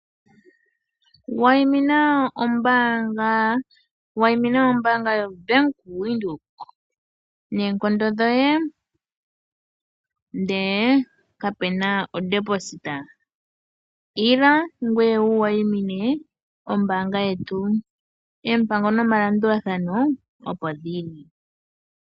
Wayimina ombaanga yoBank Windhoek noonkondo dhoye, ndele kapu na ku futa ko. Ila ngoye wu wayimine ombaanga yetu. Oompango nomalandulathano opo dhi li.